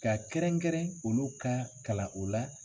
Ka kɛrɛnkɛrɛn olu ka kalan o la,